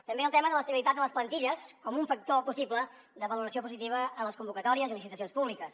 també el tema de l’estabilitat de les plantilles com un factor possible de valoració positiva en les convocatòries i licitacions públiques